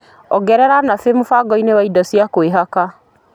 Olĩ ongerera nabe mũtaratara-inĩ wa indo cia kwĩhaka.